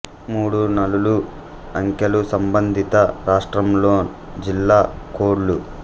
మూడు నాలులు అంకెలు సంబంధిత రాష్ట్రంలోన్ జిల్లా కోడ్ లు